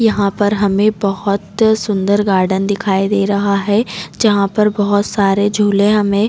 यहाँ पर हमे बोहत सुन्दर गार्डन दिखाई दे रहा है जहाँ पर बोहत सारे झूले हमे--